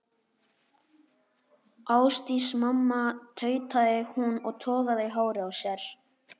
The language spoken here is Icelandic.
Ásdís mamma, tautaði hún og togaði í hárið á sér.